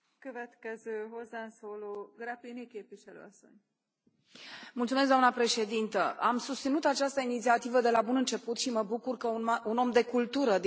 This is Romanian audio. Doamnă președintă, am susținut această inițiativă de la bun început și mă bucur că un om de cultură din România, Mircea Diaconu, este raportor și că astăzi am votat acest raport.